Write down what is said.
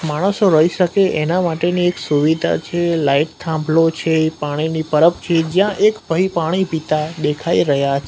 માણસો રહી શકે એના માટેની એક સુવિધા છે લાઈટ થાંભલો છે એ પાણી પરબ છે જ્યાં એક ભઈ પાણી પિતા દેખાય રહ્યા--